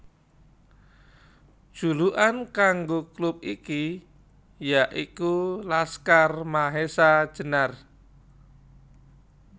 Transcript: Julukan kanggo klub iki ya iku Laskar Mahesa Jenar